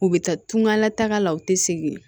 U bɛ taa tunga la taga la u tɛ segin